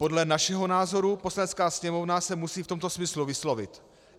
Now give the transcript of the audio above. Podle našeho názoru Poslanecká sněmovna se musí v tomto smyslu vyslovit.